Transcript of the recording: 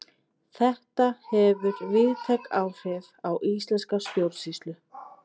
Þetta hefur víðtæk áhrif á íslenska stjórnsýslu.